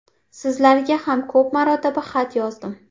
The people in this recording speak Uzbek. Sizlarga ham ko‘p marotaba xat yozdim.